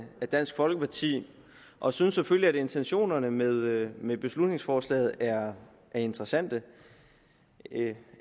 dansk folkeparti og synes selvfølgelig at intentionerne med med beslutningsforslaget er interessante